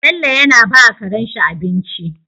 Bello yana bawa Karen shi abinci